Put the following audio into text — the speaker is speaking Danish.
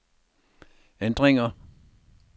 ændringer